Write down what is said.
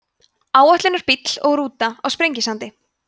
áætlunarbíll og rúta á sprengisandi